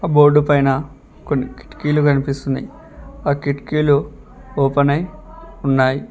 ఆ బోర్డు పైన కొన్ని కిటికీలు కనిపిస్తున్నాయి ఆ కిటికీలు ఓపెన్ అయి ఉన్నాయి.